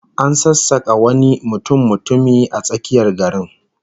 An sassaka wani mutummutumi a tsakiyar garin